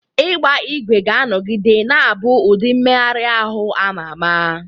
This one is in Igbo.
Ịgba ígwè ga-anọgide na-abụ ụdị mmeghari ahụ a ma ama.